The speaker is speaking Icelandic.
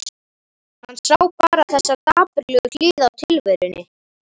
Hann sá bara þessa dapurlegu hlið á tilverunni.